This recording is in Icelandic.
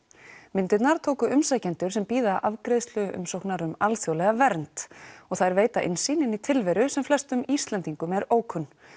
myndirnar tóku umsækjendur sem bíða afgreiðslu umsóknar um alþjóðlega vernd og þær veita innsýn inn í tilveru sem flestum Íslendingum er ókunn